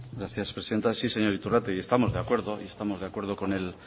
gracias presidenta sí señor iturrate y estamos de acuerdo y estamos de acuerdo con el